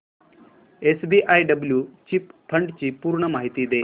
SBI blue chip fund ची पूर्ण माहिती दे